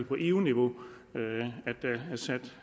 på eu niveau har sat